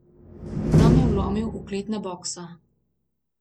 Tam je vlomil v kletna boksa.